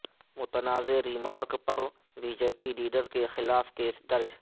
متنازعہ ریمارک پر B J P leader کے خلاف کیس درج